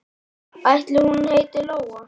Ætli hún heiti Lóa?